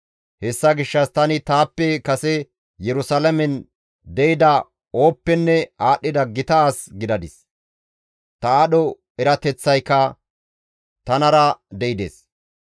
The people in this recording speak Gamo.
Hessa gishshas tani taappe kase Yerusalaamen de7ida ooppenne aadhdhida gita as gidadis; ta aadho erateththayka tanara de7ides.